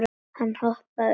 Hann hoppaði upp.